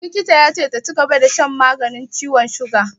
Likita ya ce ta cigaba da shan maganin ciwon siga.